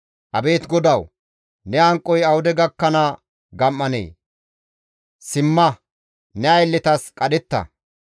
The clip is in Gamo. Abeet GODAWU! Ne hanqoy awude gakkana gam7anee? Simma! Ne aylletas qadhetta!